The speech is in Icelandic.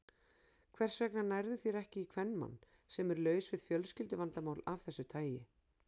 Hvers vegna nærðu þér ekki í kvenmann, sem er laus við fjölskylduvandamál af þessu tagi?